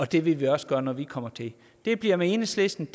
det vil vi også gøre når vi kommer til det bliver med enhedslisten